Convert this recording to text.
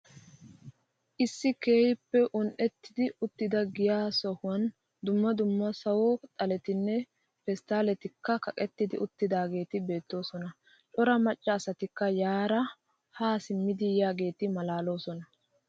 Issi keehippe un'etti uttida giyaa sohuwan dumma dumma sawo xalettinne pestalettikka kaqqetti uttidagetti beettosona. Cora macca asattikka yaara ha simmidi yiyaagetti maalalosona.